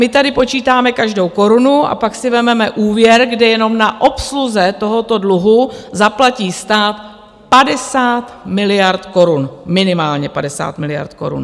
My tady počítáme každou korunu a pak si vezmeme úvěr, kde jenom na obsluze tohoto dluhu zaplatí stát 50 miliard korun, minimálně 50 miliard korun!